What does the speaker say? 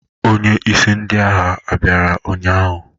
Onye isi ndị agha bịara ụnyahụ?